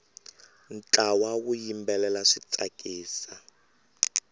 ntlawa wu yimbelela swi tsakisa